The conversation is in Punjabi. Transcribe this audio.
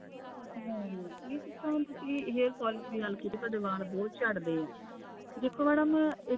ਹਮ ਜਿਸ ਤਰ੍ਹਾਂ ਤੁਸੀ hair fall ਦੀ ਗੱਲ ਕੀਤੀ ਕਿ ਤੁਹਾਡੇ ਵਾਲ ਬਹੁਤ ਝੜਦੇ ਆ ਦੇਖੋ madam ਇੱਕ